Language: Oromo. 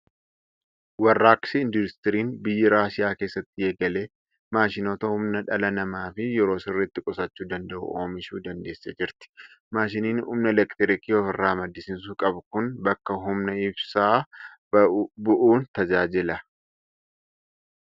Warraaqsi Industiriin biyyi Raashiyaa keessatti eegale maashinoota humna dhala namaa fi yeroo sirriitti qusachuu danda'u oomishuu dandeessee jirti. Maashiniin humna elektiriikii ofirraa maddisiisuu qabu kun bakka humna ibsaa bu'uun tajaajila.